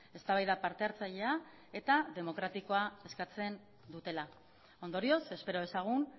eztabaida parte hartzailea eta demokratikoa eskatzen dutela ondorioz espero dezagun